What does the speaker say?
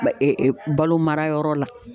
Bɛ e e balo marayɔrɔ la